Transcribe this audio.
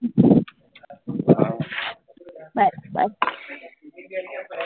હા હા હા બસ બસ